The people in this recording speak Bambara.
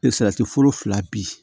foro fila bi